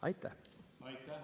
" Aitäh!